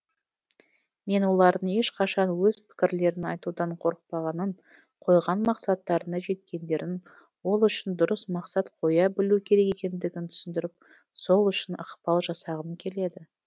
мен олардың ешқашан өз пікірлерін айтудан қорықпағанын қойған мақсаттарына жеткендерін ол үшін дұрыс мақсат қоя білу керек екендігін түсіндіріп сол үшін ықпал жасағым келеді